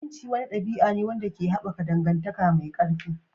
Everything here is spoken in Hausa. Aminci wani ɗabi'a ne wanda ke haɓaka dangantaka mai ƙarfi.